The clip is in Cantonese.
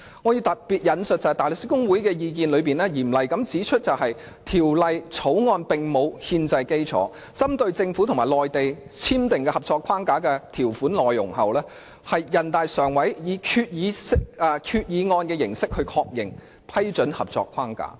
我要特別引述大律師公會的意見，當中嚴厲地指出《條例草案》沒有憲制基礎，這是針對政府和內地簽訂的《合作安排》的條款內容，並經全國人民代表大會常務委員會以《決定》形式確認。